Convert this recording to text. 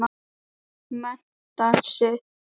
Mennta sig.